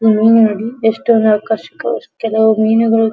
ಈ ಮೀನು ನೋಡಿ ಎಷ್ಟು ಆಕರ್ಷಕ ವಸ್ತುಗಳು ಕೆಲವು ಮೀನಿಗಳು --